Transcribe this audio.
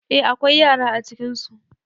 Eh akwai yara acikinsu